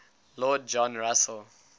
lord john russell